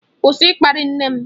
Kwụsị ịkparị nne m!